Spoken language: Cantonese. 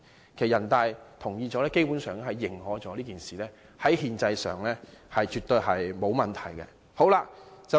其實，經人大同意後，基本上即認可這件事在憲制上絕對沒有問題。